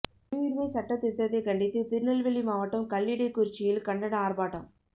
குடியுரிமை சட்டத் திருத்தத்தை கண்டித்து திருநெல்வேலி மாவட்டம் கல்லிடைக்குறிச்சியில் கண்டன ஆர்ப்பாட்டம்